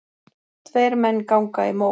Tveir menn ganga í mó.